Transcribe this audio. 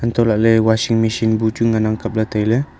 hantoh lah ley washing machine bu chu ngan ang kap ley tai ley.